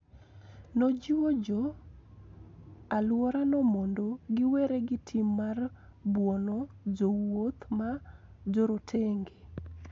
Nojiwo jo alworano mondo giwere gi tim mar buono jowuoth ma jorotenge.